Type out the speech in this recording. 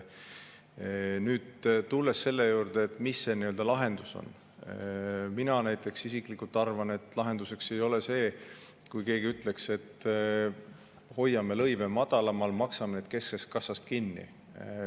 Tulles selle juurde, et mis võiks olla lahendus, ütlen, et näiteks mina isiklikult arvan, et lahendus ei ole see, kui keegi ütleks, et hoiame lõive madalamal, maksame need kesksest kassast kinni.